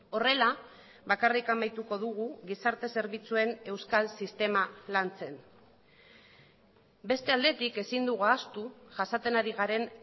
horrela bakarrik amaituko dugu gizarte zerbitzuen euskal sistema lantzen beste aldetik ezin dugu ahaztu jasaten ari garen